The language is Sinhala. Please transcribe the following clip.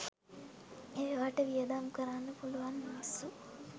ඒවාට වියදම් කරන්න පුළුවන් මිනිස්සු